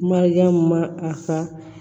Mariyamu ma a ka